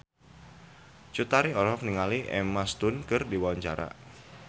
Cut Tari olohok ningali Emma Stone keur diwawancara